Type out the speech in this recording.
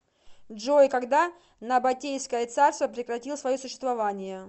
джой когда набатейское царство прекратил свое существование